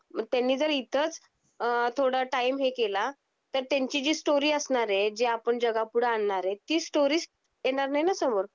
पण त्यांनी जर इथच अ थोडा टाईम हे केला तर त्यांची जी स्टोरी असणार आहे जे आपण जगा पुढे आणणार आहे ती स्टोरी येणार नाही ना समोर